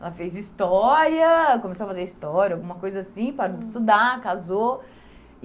Ela fez história, começou a fazer história, alguma coisa assim, parou de estudar, casou.